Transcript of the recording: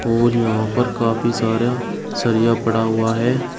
और यहां पर काफी सारा सरिया पड़ा हुआ है।